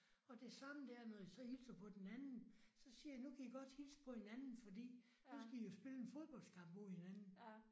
Og det samme der når jeg så hilser på den anden så siger jeg nu kan I godt hilse på hinanden fordi nu skal I jo spille en fodboldskamp mod hinanden